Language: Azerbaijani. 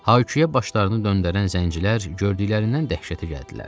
Hay-küyə başlarını döndərən zəncilər gördüklərindən dəhşətə gəldilər.